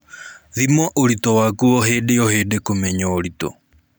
Thima ũritũũ waku hĩndĩ o hĩndĩ kũmenya ũritũ